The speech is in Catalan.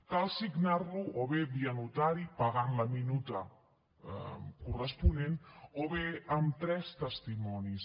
cal signar lo o bé via notari pagant la minuta corresponent o bé amb tres testimonis